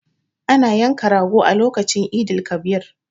Ana yanka rago a lokacin Eid el- kabir